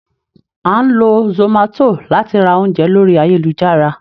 À n lọ zomato latí rá oúnjẹ lori ayélujará.